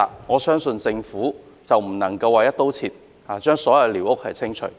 我認為政府不能"一刀切"，將所有寮屋清除。